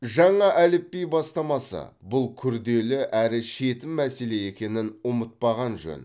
жаңа әліпби бастамасы бұл күрделі әрі шетін мәселе екенін ұмытпаған жөн